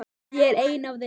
Ég er ein af þeim.